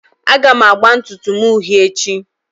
Aga m agba ntutu m uhie echi